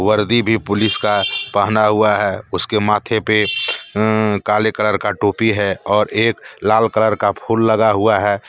वर्दी भी पुलिस का पहना हुआ है उसके माथे पे अं अं काले कलर का टोपी है और एक लाल कलर का फूल लगा हुआ है।